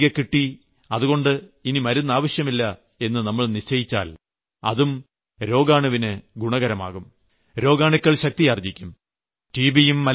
ആരോഗ്യം തിരികെകിട്ടി അതുകൊണ്ട് ഇനി മരുന്ന് ആവശ്യമില്ല എന്ന് നമ്മൾ നിശ്ചയിച്ചാൽ അതും രോഗാണുവിന് ഗുണകരമാകും രോഗാണുക്കൾ ശക്തിയാർജ്ജിക്കും